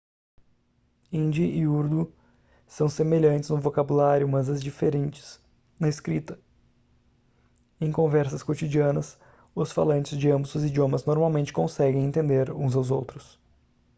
hindi e urdu são semelhantes no vocabulário mas diferentes na escrita em conversas cotidianas os falantes de ambos os idiomas normalmente conseguem entender uns aos outros